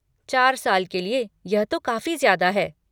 चार साल के लिए, यह तो काफ़ी ज्यादा है।